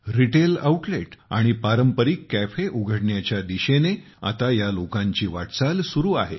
retail outlet आणि पारंपरिक cafe उघडण्याच्या दिशेने आता या लोकांची वाटचाल सुरु आहे